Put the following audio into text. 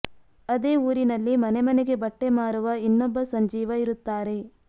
ಅದೇ ಊರಿನಲ್ಲಿ ಮನೆ ಮನೆಗೆ ಬಟ್ಟೆ ಮಾರುವ ಇನ್ನೊಬ್ಬ ಸಂಜೀವ ಇರುತ್ತಾರೆ